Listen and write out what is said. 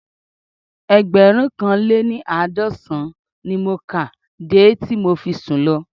Ẹgbẹ̀rúnkanléní-àádọ́sàn-án ni mo kà á de tí mo fi sùn lọ